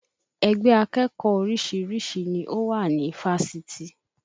Ẹgbẹ́ akẹ́kọ̀ọ́ oríṣiríṣi ni ó wà ní Fáṣitì